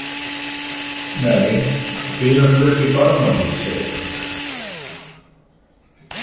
Nei, við erum flutt í Barmahlíð, segir hann.